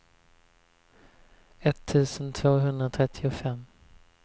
etttusen tvåhundratrettiofem